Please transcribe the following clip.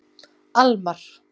Almar